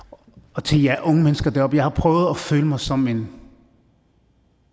og tænk jer unge mennesker deroppe jeg har prøvet at føle mig som en